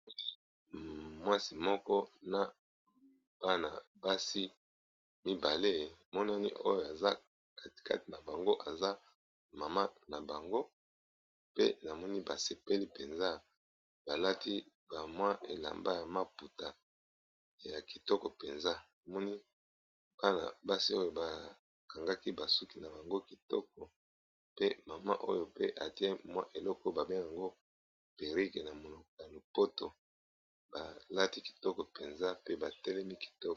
Mwasi moko na bana basi mibale emonani oyo aza kati kati na bango aza mama na bango, pe namoni ba sepeli penza, balati bamwa elamba ya maputa ya kitoko penza na basi oyo ba kangaki ba suki na bango kitoko pe mama oyo pe atie mwa eloko ba bengaka yango perrike na monoko ya lopoto balati kitoko penza pe batelemi kitoko.